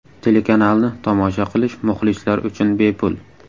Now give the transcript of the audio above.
Telekanalni tomosha qilish muxlislar uchun bepul.